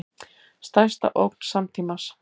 Stærsta ógn samtímans